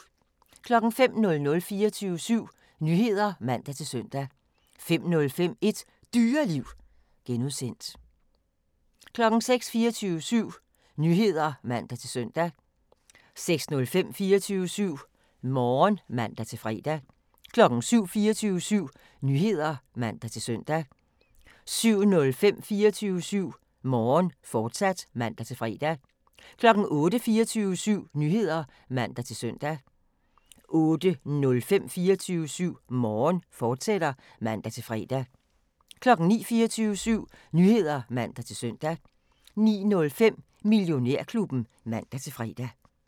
05:00: 24syv Nyheder (man-søn) 05:05: Et Dyreliv (G) 06:00: 24syv Nyheder (man-søn) 06:05: 24syv Morgen (man-fre) 07:00: 24syv Nyheder (man-søn) 07:05: 24syv Morgen, fortsat (man-fre) 08:00: 24syv Nyheder (man-søn) 08:05: 24syv Morgen, fortsat (man-fre) 09:00: 24syv Nyheder (man-søn) 09:05: Millionærklubben (man-fre)